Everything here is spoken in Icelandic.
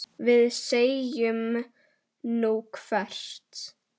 Við segjum: Nú, hvert?